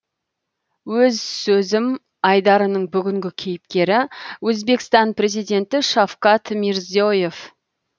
өз сөзім айдарының бүгінгі кейіпкері өзбекстан президенті шавкат мирзие ев